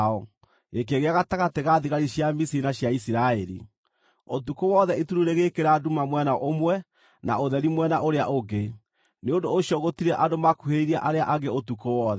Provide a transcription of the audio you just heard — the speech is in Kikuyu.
gĩkĩgĩa gatagatĩ ga thigari cia Misiri na cia Isiraeli. Ũtukũ wothe itu rĩu rĩgĩĩkĩra nduma mwena ũmwe, na ũtheri mwena ũrĩa ũngĩ; nĩ ũndũ ũcio gũtirĩ andũ makuhĩrĩirie arĩa angĩ ũtukũ wothe.